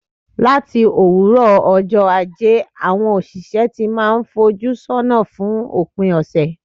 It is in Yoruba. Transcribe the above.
Láti òwúrọ̀ ọjọ́ Ajé, àwọn òṣìṣẹ́ ti n máà fojú sọ́nà fún òpin ọ̀sẹ̀.